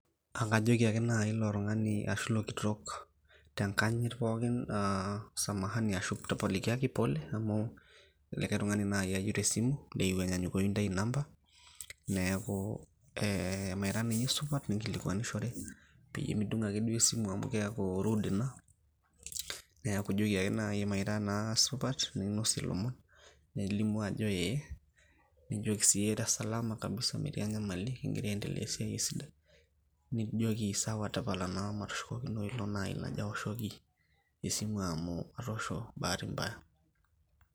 akajoki ake nai ilo tungani ashu ilo kitok , tenkanyit pookin aa samahani tapalikiaki , pole amu likae tungani naji ayieu te simu , eyieu enyanyukoyu intae inamba . neku mmee ira akeninye supat, ninkilikwanishore peyie midung ake esimu amu keaku rude neaku ijoki ake mee ira naa supat nelimu ajo ee